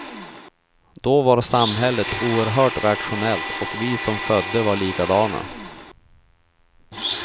Då var samhället oerhört rationellt och vi som födde var likadana.